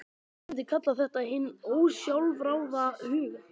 Ég myndi kalla þetta hinn ósjálfráða huga.